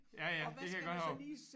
Ja ja det kan jeg godt huske